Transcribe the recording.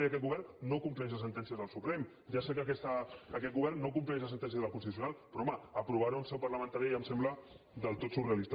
i aquest govern no compleix les sentències del suprem ja sé que aquest govern no compleix les sentències del constitucional però home aprovar ho en seu parlamentària ja em sembla del tot surrealista